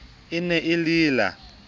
e ne e le la